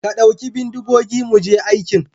ka ɗauki bindigogi mu je aikin.